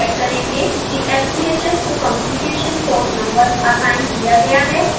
सबसे पहले हम चेक करेंगे कि sbhs को communication port नंबर असाइन किया गया है